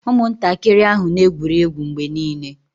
Ụmụntakịrị ahụ na-egwuri egwu mgbe niile